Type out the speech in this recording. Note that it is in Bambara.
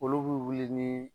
Olu b'i wuli ni.